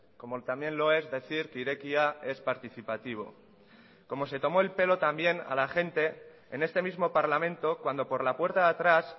como también lo es decir que irekia es participativo como se tomó el pelo también a la gente en este mismo parlamento cuando por la puerta de atrás